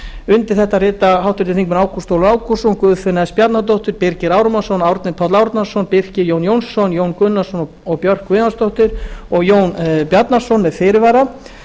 undir þetta rita háttvirtir þingmenn ágúst ólafur ágústsson guðfinna s bjarnadóttir birgir ármannsson árni páll árnason birkir j jónsson jón gunnarsson og björk guðjónsdóttir jón bjarnason skrifar undir álit þetta með fyrirvara